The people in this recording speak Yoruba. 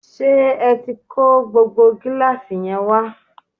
ṣé ẹ tí kó gbogbo gíláàsì yẹn wá?